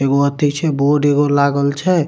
एगो अथी छै बोर्ड एगो लागल छै।